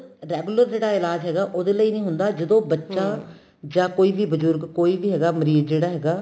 regular ਜਿਹੜਾ ਇਲਾਜ ਹੈਗਾ ਉਹਦੇ ਲਈ ਨੀਂ ਹੁੰਦਾ ਜਦੋਂ ਬੱਚਾ ਜਾਂ ਕੋਈ ਵੀ ਬਜੁਰਗ ਕੋਈ ਵੀ ਹੈਗਾ ਮਰੀਜ ਜਿਹੜਾ ਹੈਗਾ